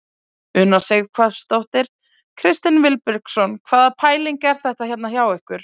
Una Sighvatsdóttir: Kristinn Vilbergsson hvaða pæling er þetta hérna hjá ykkur?